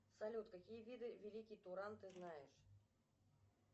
салют какие виды великий туран ты знаешь